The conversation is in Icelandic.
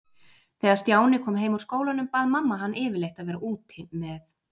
Þegar Stjáni kom heim úr skólanum bað mamma hann yfirleitt að vera úti með